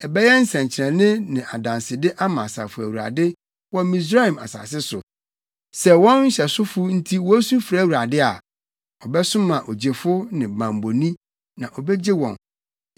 Ɛbɛyɛ nsɛnkyerɛnne ne adansede ama Asafo Awurade wɔ Misraim asase so. Sɛ wɔn nhyɛsofo nti wosu frɛ Awurade a, ɔbɛsoma ogyefo ne bammɔni, na obegye wɔn.